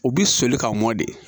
U bi soli ka mɔn de